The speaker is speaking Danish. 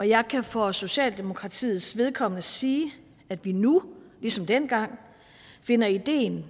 jeg kan for socialdemokratiets vedkommende sige at vi nu ligesom dengang finder ideen